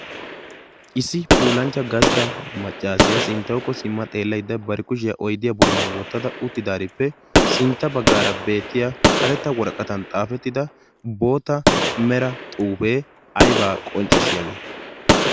Issi puulanchchaa gastta maccassiya sinttawukko simma xeellyda bari kushiya oydiya bolla wottada uttidarippe sintta baggaara beetiyaa karettaa worqqattan xaafettida boottaa mera xuufee aybaa qonccssiyagee?